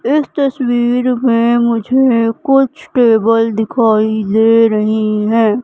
इस तस्वीर में मुझे कुछ टेबल दिखाई दे रही है।